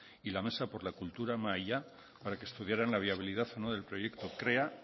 y la mesa por la cultura mahaia para que estudiaran la viabilidad o no del proyecto krea